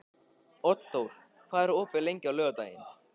Oddþór, hvað er opið lengi á laugardaginn?